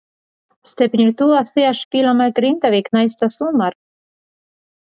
Stefnir þú að því að spila með Grindavík næsta sumar?